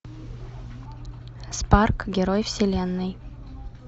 спарк герой вселенной